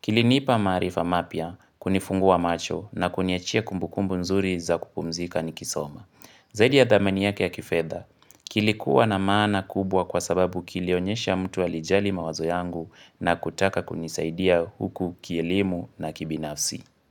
Kilinipa maarifa mapya, kunifungua macho na kuniachia kumbukumbu nzuri za kupumzika nikisoma. Zaidi ya dhamani yake ya kifedha, kilikuwa na maana kubwa kwa sababu kilionyesha mtu alijali mawazo yangu na kutaka kunisaidia huku kielimu na kibinafsi.